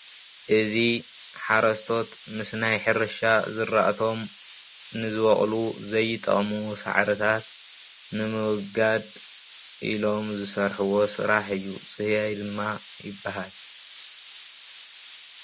እዚ ሓረስቶት ምስ ናይ ሕርሻ ዝራእቶም ንዝበቀሉ ዘይጠቅሙ ሳዕርታት ንምዉጋድ ኢሎም ዝስርሕዎ ስራሕ እዩ። ጽህያይ ድማ ይብሃል።